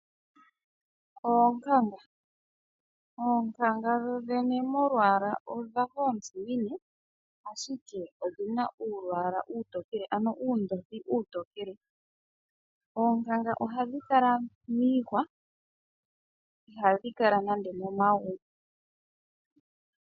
Oonkanga, oonkanga dhodhene molwaala odhafa oontsimine ashike odhina uulwaala uutokele ano uundothi uutokele. Oonkanga ohadhi kala miihwa, ihadhi kala nande momagumbo.